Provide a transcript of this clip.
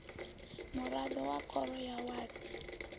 muraḓo wa khoro ya wadi